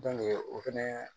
o fɛnɛ